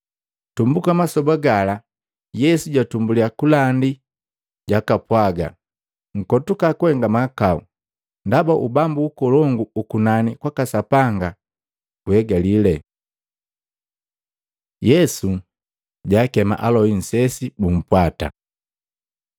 Tumbuka masoba gala Yesu jatumbuliya kulandi jakapwaga, “Nkotuka kuhenga mahakau, ndaba Ubambu ukolongu ukunani kwaka Sapanga guhegali!” Yesu jaakema aloi nsesi bumpwata Maluko 1:16-20; Luka 5:1-11